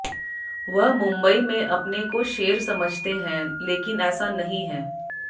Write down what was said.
वह मुंबई में अपने को शेर समझते हैं लेकिन ऐसा नहीं है